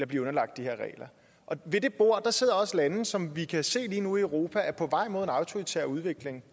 blive underlagt de her regler og ved det bord sidder også lande som vi kan se lige nu i europa er på vej mod en autoritær udvikling